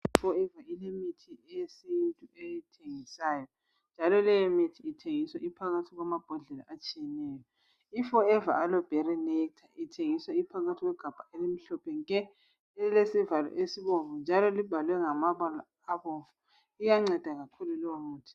IForever ilemithi yesintu eyithengisayo, njalo leyomithi ithengiswa iphakathi kwamabhodlela atshiyeneyo. lForever Aloe Berry Nectar, thengiswa iphakathi kwegabha elimhlophe nke! Lilesivalo esibomvu, njalo sibhalwe ngamabala abomvu. Iyanceda kakhulu leyomithi.